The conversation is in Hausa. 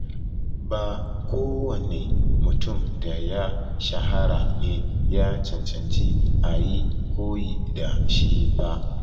Ba kowane mutum da ya shahara ne ya cancanci a yi koyi da shi ba.